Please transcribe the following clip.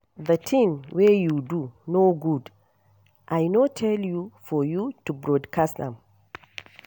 The thing wey you do no good I no tell you for you to broadcast am.